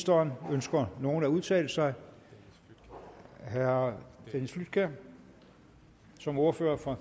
ønsker nogen at udtale sig herre dennis flydtkjær som ordfører for